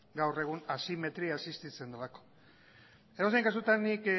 gaur egun asimetria existitzen delako edozein kasutan nik